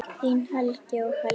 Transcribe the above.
Þín Helgi og Helga.